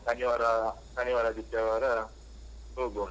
ಶನಿವಾರ, ಶನಿವಾರ ಆದಿತ್ಯವಾರ ಹೋಗುವ ಅಂತ.